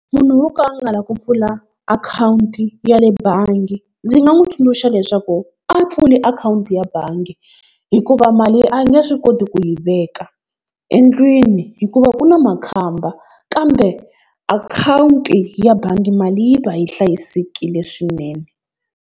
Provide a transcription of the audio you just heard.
Munhu wo ka a nga la ku pfula akhawunti ya le bangi, ndzi nga n'wi tsundzuxa leswaku a pfuli akhawunti ya bangi hikuva mali a nge swi koti ku yi veka endlwini, hikuva ku na makhamba kambe akhawunti ya bangi mali yi va yi hlayisekile swinene.